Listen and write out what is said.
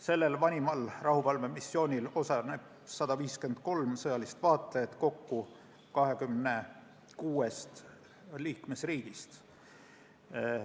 Sellel vanimal rahuvalvemissioonil osaleb 153 sõjalist vaatlejat kokku 26 liikmesriigist.